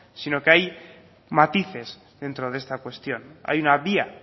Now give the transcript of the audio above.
sino que hay matices dentro de esta cuestión hay una vía